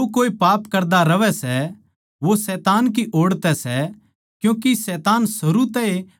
उस म्ह बण्या रहवै सै अर वो पाप कर ए न्ही सकता क्यूँके वो परमेसवर की ऊलाद सै